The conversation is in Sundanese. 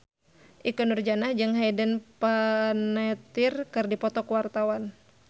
Ikke Nurjanah jeung Hayden Panettiere keur dipoto ku wartawan